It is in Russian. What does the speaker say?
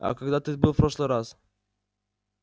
а когда ты был в прошлый раз